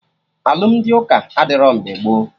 Alụmdi ụka adịrọ mgbe gboo